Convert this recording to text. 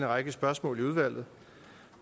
række spørgsmål i udvalget